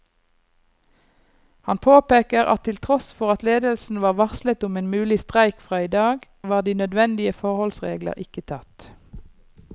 Han påpeker at til tross for at ledelsen var varslet om en mulig streik fra i dag, var de nødvendige forholdsregler ikke tatt.